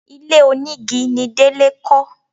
Ilé onígi ni Délé kọ́